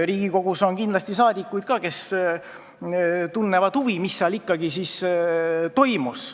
Riigikogus on kindlasti saadikuid, kes tunnevad huvi, mis seal ikkagi toimus.